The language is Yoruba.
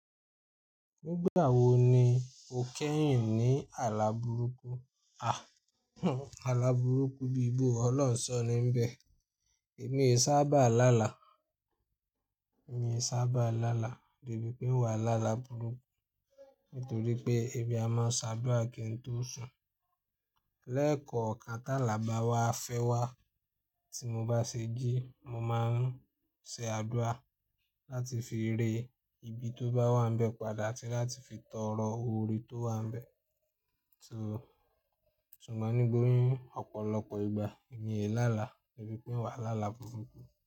Nígbà wo ni o kẹ́yìn ní àlà burúkú? Àh hùn àlà burúkú bíbò Ọlọ́run sọ ní nbẹ̀. Mi i sábà lálà, èmi ò sábà lálà debi pé wà lá là burúkú nítorí pé èmi a mo s'áduà kí n tó sùn. Lẹ́kọ̀ọ́kan tàlà bá wá fẹ́ wá tí mo bá ṣe jí mo máa ń ṣe àdúà láti fi rẹ́ ibi tó bá wà níbẹ̀ padà àti láti fi tọrọ oore tó wà níbẹ̀. Tùn, ṣùgbọ́n nígbòyún ọ̀pọ̀lọpọ̀ ìgbà èmi ò lá là debi pé wà lá là burúkú.